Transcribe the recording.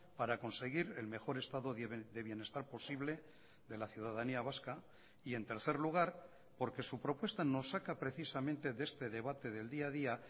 para conseguir el mejor estado de bienestar posible de la ciudadanía vasca y en tercer lugar porque su propuesta nos saca precisamente de este debate del día a día